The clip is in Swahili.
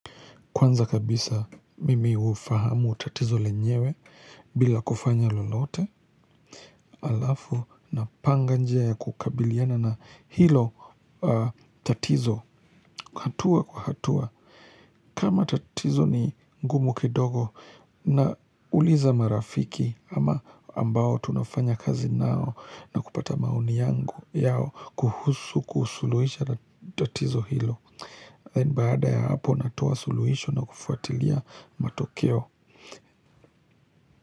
Kwanza kabisa mimi hufahamu tatizo lenyewe bila kufanya lolote halafu napanga njia ya kukabiliana na hilo tatizo. Hatua kwa hatua. Kama tatizo ni ngumu kidogo nauliza marafiki ama ambao tunafanya kazi nao na kupata maoni yangu, yao kuhusu kuusuluhisha tatizo hilo. Then baada ya hapo natoa suluhisho na kufuatilia matokeo.